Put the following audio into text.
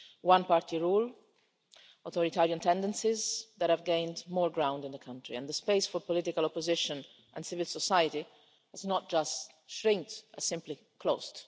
One party rule, authoritarian tendencies that have gained more ground in the country, and the space for political opposition and civil society has not so much shrunk as simply closed.